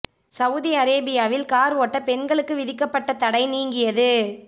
Saudi அரேபியாவில் car ஓட்ட பெண்களுக்கு விதிக்கப்பட்ட தடை நீங்கியது